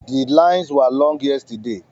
The lines were long yesterday